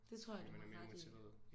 Det tror jeg du har ret i